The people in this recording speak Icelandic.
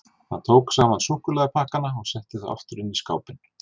Hann tók saman súkkulaðipakkana og setti þá aftur inn í skápinn.